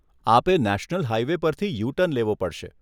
આપે national highway પરથી U turn લેવો પડશે.